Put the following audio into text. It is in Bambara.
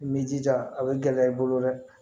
I b'i jija a bɛ gɛlɛya i bolo dɛ